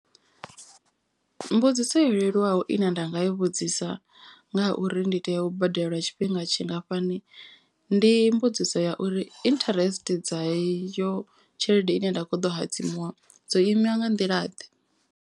Mbudziso yo leluwaho ine nda nga i vhudzisa nga uri ndi tea u badela lwa tshifhinga tshingafhani. Ndi mbudziso ya uri interest dza iyo tshelede ine nda kho ḓo hadzimiwa dzo ima nga nḓila ḓe.